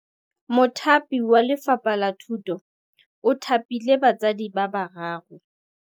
Mothapi wa Lefapha la Thutô o thapile basadi ba ba raro.